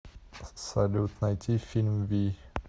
салют найти фильм вий